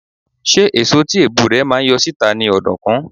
Ṣé èso tí èbù rẹ̀ máa ń yọ síta ni ọ̀dùnkún?